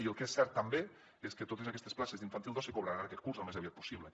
i el que és cert també és que totes aquestes places d’infantil dos se cobraran aquest curs o al més aviat possible